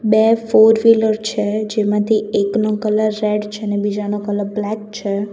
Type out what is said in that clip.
બે ફોરવીલર છે જેમાંથી એકનો કલર રેડ છે ને બીજાનો કલર બ્લેક છે.